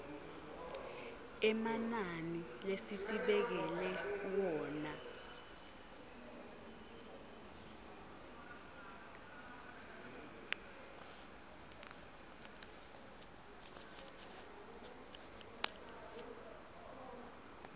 emananini lesitibekele wona